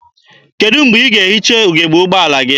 Kedụ mgbe ị ga-ehicha ugebe ụgbọala gị?